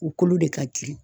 U kolo de ka girin.